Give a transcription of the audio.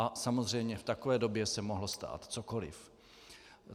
A samozřejmě v takové době se mohlo stát cokoli.